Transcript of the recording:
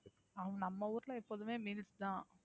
ஹம் நம்ம ஊருல எப்போதுமே meals தான்,